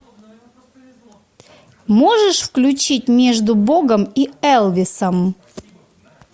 можешь включить между богом и элвисом